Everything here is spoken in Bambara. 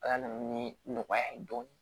Ala na ni nɔgɔya ye dɔɔnin